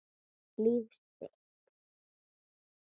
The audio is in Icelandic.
Líf sitt.